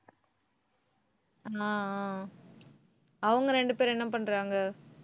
ஆஹ் அஹ் அவங்க ரெண்டு பேரும் என்ன பண்றாங்க?